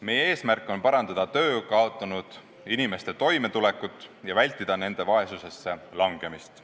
Meie eesmärk on parandada töö kaotanud inimeste toimetulekut ja vältida nende vaesusesse langemist.